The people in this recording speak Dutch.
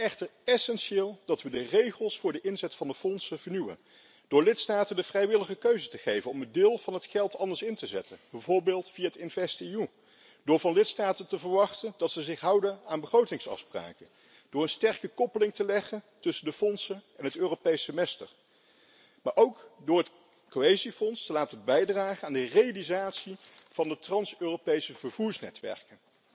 Hiervoor is het echter essentieel dat we de regels voor de inzet van de fondsen vernieuwen, door lidstaten de vrijwillige keuze te geven om een deel van het geld anders in te zetten, bijvoorbeeld via InvestEU, door van lidstaten te verwachten dat ze zich houden aan begrotingsafspraken, door een sterke koppeling te leggen tussen de fondsen en het Europees Semester, maar ook door het Cohesiefonds te laten bijdragen aan de realisatie van de trans Europese vervoersnetwerken.